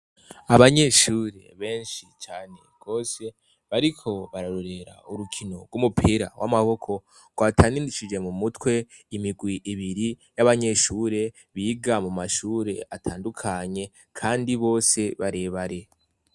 Abanyeshure benshi cane kose bariko bararorera urukino rw'umupira w'amaboko rwataninishije mu mutwe imigwi ibiri y'abanyeshure biga mu mashure atandukanye, kandi bose barebare.